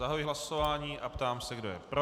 Zahajuji hlasování a ptám se, kdo je pro.